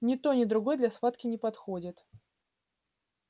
ни то ни другое для схватки не подходит